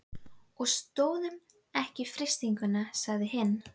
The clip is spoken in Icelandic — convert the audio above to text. Og stóðumst ekki freistinguna sagði hinn.